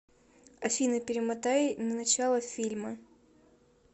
афина перемотай на начало фильма